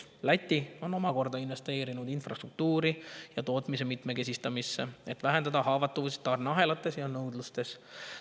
Läti on omakorda investeerinud infrastruktuuri ja tootmise mitmekesistamisse, et vähendada haavatavust tarneahelates ja nõudluses.